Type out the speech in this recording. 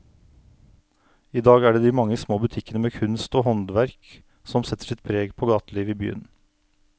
I dag er det de mange små butikkene med kunst og håndverk som setter sitt preg på gatelivet i byen.